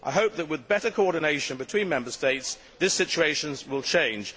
I hope that, with better coordination between Member States, this situation will change.